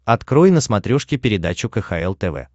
открой на смотрешке передачу кхл тв